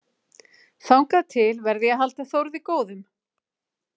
Þangað til verð ég að halda Þórði góðum.